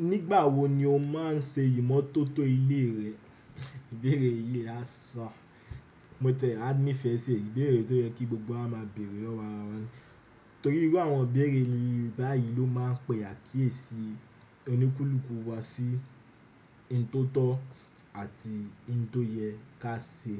Nígbà wo ni o máa ń ṣe ìmótótó ilé rẹ? Ìbéèrè yìí laṣán. Mo tẹ̀ẹ́, a ní ìfẹ ṣe ìbéèrè tó yẹ kí gbogbo wa máa bèèrè lọ́wọ́ àra wa ni. Torí pé àwọn ìbéèrè báyìí ló máa ń pè àkíyèsí ọníkúlùkù wá sí ohun tó tọ́ àti ohun tó yẹ ká ṣe.